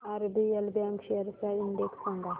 RBL bank shares चा index सांगा